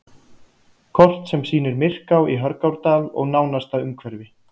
Kort sem sýnir Myrká í Hörgárdal og nánasta umhverfi.